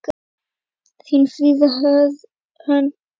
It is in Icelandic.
Þín, Fríða Hrönn.